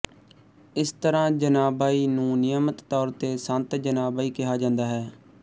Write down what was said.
ਇਸ ਤਰਾਂ ਜਨਾਬਾਈ ਨੂੰ ਨਿਯਮਤ ਤੌਰ ਤੇ ਸੰਤ ਜਨਾਬਾਈ ਕਿਹਾ ਜਾਂਦਾ ਹੈ